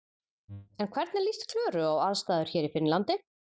En hvernig líst Klöru á aðstæður hér í Finnlandi?